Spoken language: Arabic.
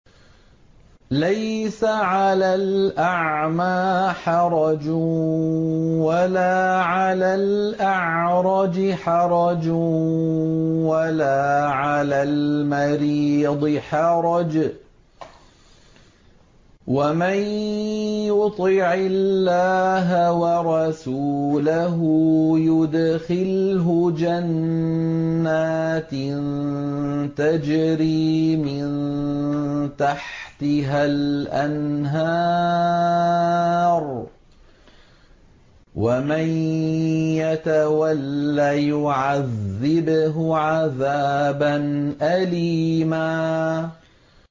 لَّيْسَ عَلَى الْأَعْمَىٰ حَرَجٌ وَلَا عَلَى الْأَعْرَجِ حَرَجٌ وَلَا عَلَى الْمَرِيضِ حَرَجٌ ۗ وَمَن يُطِعِ اللَّهَ وَرَسُولَهُ يُدْخِلْهُ جَنَّاتٍ تَجْرِي مِن تَحْتِهَا الْأَنْهَارُ ۖ وَمَن يَتَوَلَّ يُعَذِّبْهُ عَذَابًا أَلِيمًا